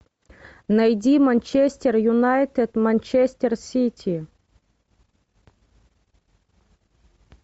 найди манчестер юнайтед манчестер сити